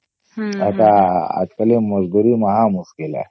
ଅଛ ଆଜି କାଲି ମଜଦୂରୀ ମହା ମୁସ୍କିଲ ହେ